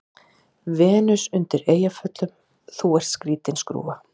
Venus undan Eyjafjöllum:- Þú ert skrýtin skrúfa.